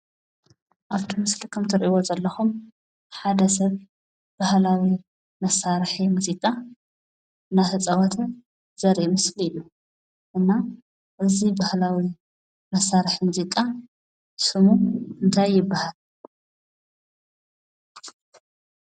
ኣፍቲ ምስሊ ካብ እትርእይዎ ዘለኹም ሓደ ሰብ ባህላዊ መሳርሒ ሙዚቃ እናተፃወተ ዘርኢ ምስሊ እዩ። እና እዚ ባህላዊ መሳርሒ ሙዚቃ ስሙ እንታይ ይብሃል?